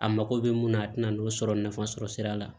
A mago bɛ mun na a tɛna n'o sɔrɔ nafa sɔrɔ sira la